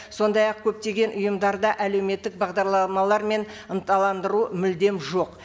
сондай ақ көптеген ұйымдарда әлеуметтік бағдарламалар мен ынталандыру мүлдем жоқ